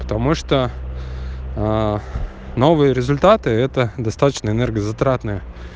потому что новые результаты это достаточно энергозатратное